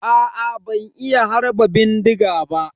Aa ban iya harba bindiga ba.